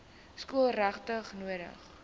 skool regtig nodig